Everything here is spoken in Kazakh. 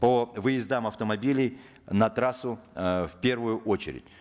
по выездам автомобилей на трассу э в первую очередь